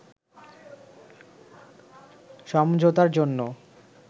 সমঝোতার জন্য